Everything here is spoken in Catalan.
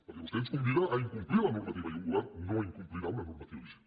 perquè vostè ens convida a incomplir la normativa i un govern no incomplirà una normativa vigent